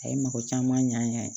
A ye mɔgɔ caman ɲ'an ye